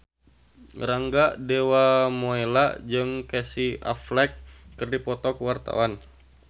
Rangga Dewamoela jeung Casey Affleck keur dipoto ku wartawan